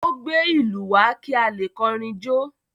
Ó gbé ìlú wá kí a lè kọrin jó?